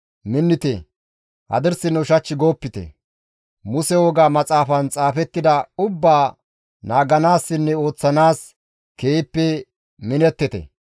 «Minnite! Hadirsinne ushach goopite; Muse Woga Maxaafan xaafettida ubbaa naaganaassinne ooththanaas keehippe minettite.